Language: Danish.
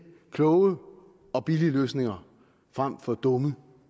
kloge og billige løsninger frem for dumme